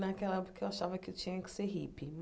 Naquela época, eu achava que eu tinha que ser hippie.